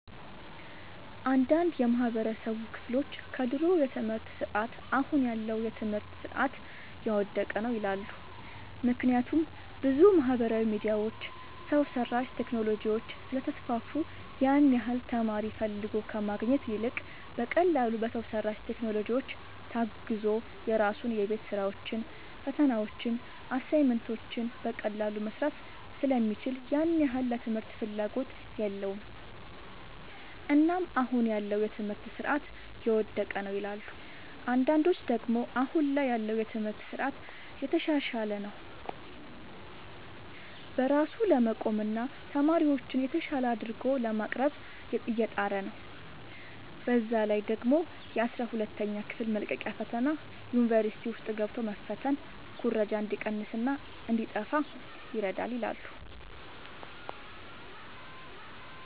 አንዳንድ የማህበረሰቡ ክፍሎች ከድሮ የትምህርት ስርዓት አሁን ያለው የትምህርት ስርዓት የወደቀ ነው ይላሉ። ምክንያቱም ብዙ ማህበራዊ ሚዲያዎች፣ ሰው ሰራሽ ቴክኖሎጂዎች ስለተስፋፉ ያን ያህል ተማሪ ፈልጎ ከማግኘት ይልቅ በቀላሉ በሰው ሰራሽ ቴክኖሎጂዎች ታግዞ የራሱን የቤት ስራዎችን፣ ፈተናዎችን፣ አሳይመንቶችን በቀላሉ መስራት ስለሚችል ያን ያህል ለትምህርት ፍላጎት የለውም። እናም አሁን ያለው የትምህርት ስርዓት የወደቀ ነው ይላሉ። አንዳንዶች ደግሞ አሁን ላይ ያለው የትምህርት ስርዓት እየተሻሻለ ነው። በራሱ ለመቆምና ተማሪዎችን የተሻለ አድርጎ ለማቅረብ እየጣረ ነው። በዛ ላይ ደግሞ የአስራ ሁለተኛ ክፍል መልቀቂያ ፈተና ዩኒቨርሲቲ ውስጥ ገብቶ መፈተን ኩረጃ እንዲቀንስና እንዲጣፋ ይረዳል ይላሉ።